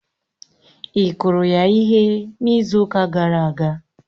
Ị kụrụ ya ihe n'izu ụka gara aga?